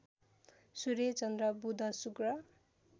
सूर्य चन्द्र बुध शुक्र